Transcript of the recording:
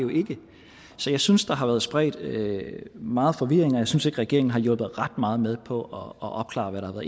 så jeg synes der har været spredt meget forvirring og jeg synes ikke regeringen har hjulpet ret meget med på at opklare hvad der har